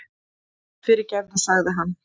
Fyrirgefðu, sagði hann.